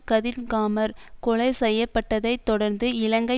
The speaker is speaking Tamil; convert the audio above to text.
கதிர்காமர் கொலை செய்ய பட்டதை தொடர்ந்து இலங்கை